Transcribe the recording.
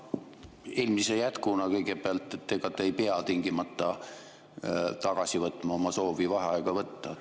Eelmise jätkuna kõigepealt: ega te ei pea tingimata tagasi võtma oma soovi vaheaega võtta.